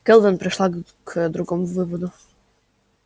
кэлвин пришла к другому выводу